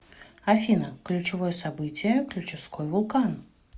афина ключевое событие ключевской вулкан